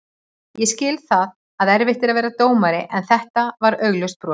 Ég skil að það er erfitt að vera dómari en þetta var augljóst brot.